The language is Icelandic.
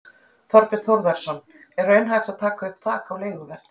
Þorbjörn Þórðarson: Er raunhæft að taka upp þak á leiguverð?